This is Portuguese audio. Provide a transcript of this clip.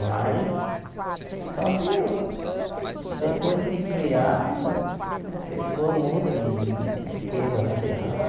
Mas, só que eu depois que criaram, a o as pessoas mudam de de de esquema né, de ramo.